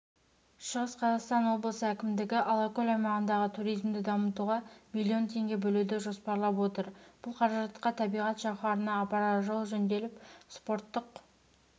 шығыс қазақстан облысы әкімдігі алакөл аймағындағы туризмді дамытуға миллион теңге бөлуді жоспарлап отыр бұл қаражатқа табиғат жауһарына апарар жол жөнделіп спорттық